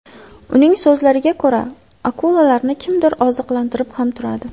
Uning so‘zlariga ko‘ra, akulalarni kimdir oziqlantirib ham turadi.